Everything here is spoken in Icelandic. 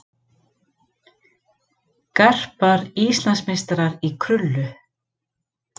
Garpar Íslandsmeistarar í krullu